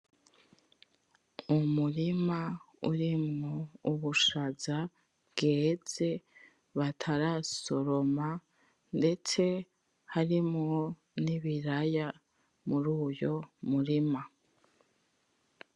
Umurima urimwo ubushaza bweze batarasoroma ndetse harimwo ibiraya muri uyo murima.